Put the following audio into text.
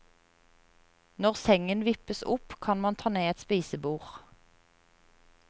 Når sengen vippes opp, kan man ta ned et spisebord.